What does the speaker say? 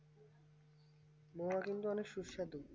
মহা কিন্তু অনেক সুস্বাদু